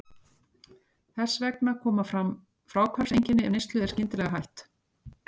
Þess vegna koma fram fráhvarfseinkenni ef neyslu er skyndilega hætt.